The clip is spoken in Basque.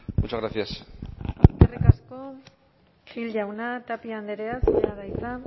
muchas gracias eskerrik asko gil jauna tapia andrea zurea da hitza